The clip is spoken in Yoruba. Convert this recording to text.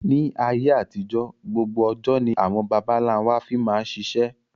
Ni ayé àtijọ́ gbogbo ọjọ́ ni àwọn baba ńlá wa fi máa ṣiṣẹ́